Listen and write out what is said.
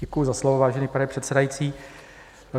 Děkuji za slovo, vážený pane předsedající.